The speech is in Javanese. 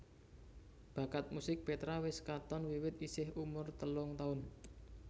Bakat musik Petra wis katon wiwit isih umur telung taun